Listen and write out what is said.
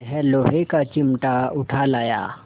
यह लोहे का चिमटा उठा लाया